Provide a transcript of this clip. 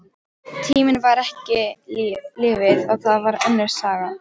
Tíminn var ekki lífið, og það var önnur saga.